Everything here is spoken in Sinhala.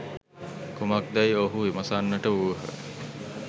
කුමක්දැයි ඔවුහු විමසන්නට වූහ.